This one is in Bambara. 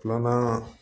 Filanan